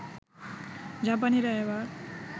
জাপানিরা এবার